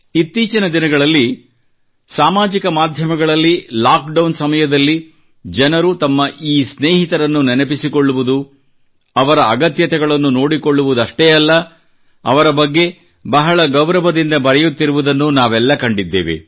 ಇತ್ತೀಚಿನ ದಿನಗಳಲ್ಲಿ ಸಾಮಾಜಿಕ ಮಾಧ್ಯಮದಲ್ಲಿ ಲಾಕ್ಡೌನ್ ಸಮಯದಲ್ಲಿ ಜನರು ತಮ್ಮ ಈ ಸ್ನೇಹಿತರನ್ನು ನೆನಪಿಸಿಕೊಳ್ಳುವುದು ಅವರ ಅಗತ್ಯತೆಗಳನ್ನು ನೋಡಿಕೊಳ್ಳುವುದಷ್ಟೇ ಅಲ್ಲ ಅವರ ಬಗ್ಗೆ ಬಹಳ ಗೌರವದಿಂದ ಬರೆಯುತ್ತಿರುವುದನ್ನೂ ನಾವೆಲ್ಲ ಕಂಡಿದ್ದೇವೆ